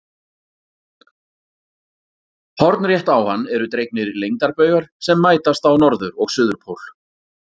Hornrétt á hann eru dregnir lengdarbaugar sem mætast á norður- og suðurpól.